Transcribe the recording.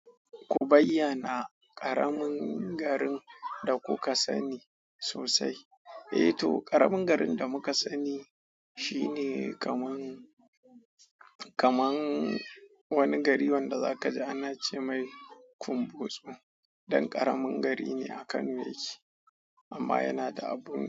Ku bayyana ƙaramin garin da kuka sani sosai. Eh to, ƙaramin garin da muka sani shine kaman, kaman wani gari wanda zakaji ana cemai kumbotsu dan ƙaramin gari ne a Kano yake, amma yana da abun.